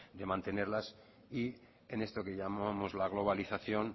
de mantenerlas y en esto que llamamos la globalización